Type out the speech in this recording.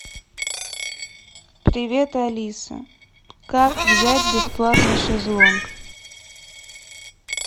привет алиса как взять бесплатный шезлонг